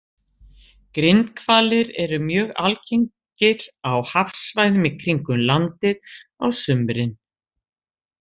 Grindhvalir eru mjög algengir á hafsvæðum í kringum landið á sumrin.